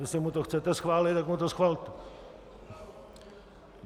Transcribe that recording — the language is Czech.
Jestli mu to chcete schválit, tak mu to schvalte.